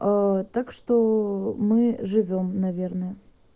так что мы живём наверное